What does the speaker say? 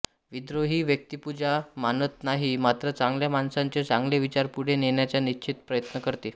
विद्रोही व्यक्तिपूजा मानत नाही मात्र चांगल्या माणसांचे चांगले विचार पुढे नेण्याचा निश्चित प्रयत्न करते